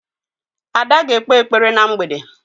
Ada ga-ekpe ekpere na mgbede.